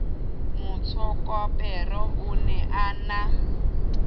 motsokapere o ne a na